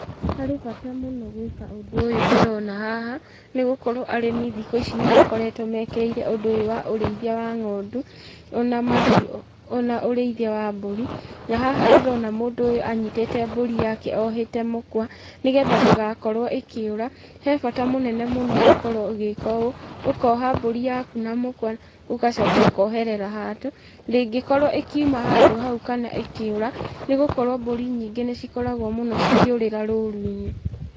Harĩ bata mũno gwĩka ũndũ ũyũ ndĩrona haha, nĩ gũkorwo arĩmi thikũ ici nĩ makoretwo mekĩrĩire ũndũ ũyũ wa ũrĩithia wa ng'ondu, ona mahiũ, ona ũrĩithia wa mbũri, na haha ndĩrona mũndũ ũyũ anyitĩte mbũri yake ohete mũkwa, nĩgetha ndĩgakorwo ĩkĩũra. He bata mũnene mũno gũkorwo ũgĩka ũũ, ũkoha mbũri yaku na mũkwa ũgacoka ũkoherera handũ. Ndĩngĩkorwo ĩkiuma handũ hau kana ĩkĩũra, nĩ gũkorwo mbũri nyingĩ nĩ cikoragwo mũno cikũrĩra rũru-inĩ.